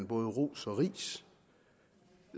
både ros og ris